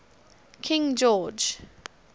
king george